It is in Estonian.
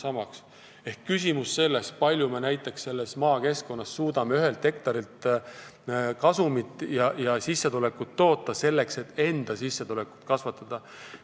Siin on küsimus selles, kui palju me suudame maakeskkonnas ühelt hektarilt kasumit toota, selleks et enda sissetulekut kasvatada.